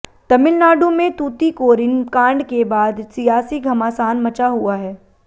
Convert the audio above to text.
तमिलनाडु में तूतीकोरिन कांड के बाद सियासी घमासान मचा हुआ है